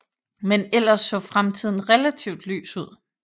Men ellers så fremtiden relativt lys ud